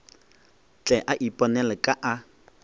tle a iponele ka a